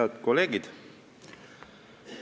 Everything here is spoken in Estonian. Head kolleegid!